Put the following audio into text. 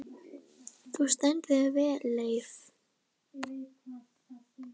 Þú stendur þig vel, Leif!